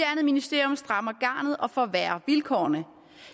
ministerium strammer garnet og forværrer vilkårene